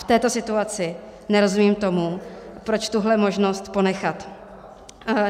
V této situaci nerozumím tomu, proč tuhle možnost ponechat.